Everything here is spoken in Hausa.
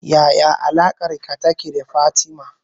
Yaya alaƙarka take da Fatima